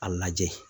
A lajɛ